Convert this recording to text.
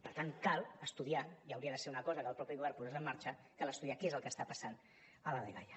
per tant cal estudiar i hauria de ser una cosa que el mateix govern posés en marxa què és el que està passant a la dgaia